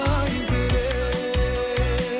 айзере